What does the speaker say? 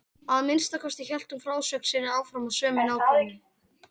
Að minnsta kosti hélt hún frásögn sinni áfram af sömu nákvæmni.